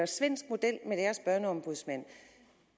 svenske model med deres børneombudsmand